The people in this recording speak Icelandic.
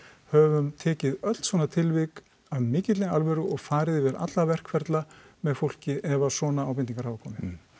höfum tekið öll svona tilvik af mikilli alvöru og farið yfir alla verkferla með fólki ef svona ábendingar hafa komið